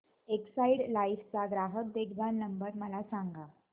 Exide Life चा ग्राहक देखभाल नंबर मला सांगा